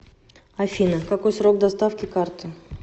афина какой срок доставки карты